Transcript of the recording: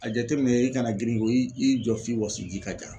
A jateminɛ i kana girin i jɔ f'i wɔsiji ka ja.